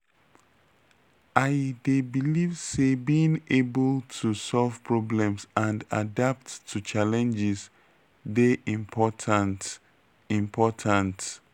i dey believe say being able to solve problems and adapt to challenges dey important. important.